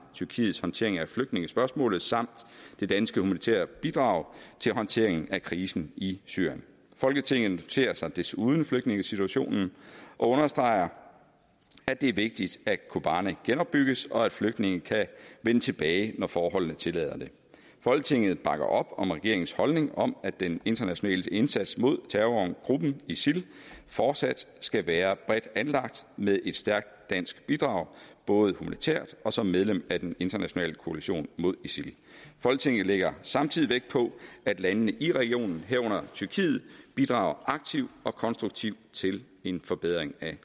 tyrkiets håndtering af flygtningespørgsmålet samt det danske humanitære bidrag til håndtering af krisen i syrien folketinget noterer sig desuden flygtningesituationen og understreger at det er vigtigt at kobane genopbygges og at flygtningene kan vende tilbage når forholdene tillader det folketinget bakker op om regeringens holdning om at den internationale indsats mod terrorgruppen isil fortsat skal være bredt anlagt med et stærkt dansk bidrag både humanitært og som medlem af den internationale koalition mod isil folketinget lægger samtidig vægt på at landene i regionen herunder tyrkiet bidrager aktivt og konstruktivt til en forbedring af